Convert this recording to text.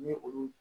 Ni olu